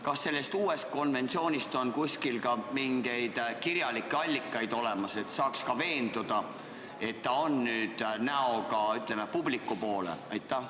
Kas selle uue konventsiooniga tutvumiseks on kuskil ka mingeid kirjalikke allikaid olemas, et saaks ise veenduda, et ta on nüüd näoga publiku poole?